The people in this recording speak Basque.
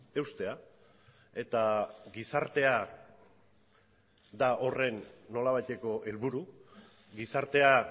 eustea eta gizartea da horren nolabaiteko helburu gizartea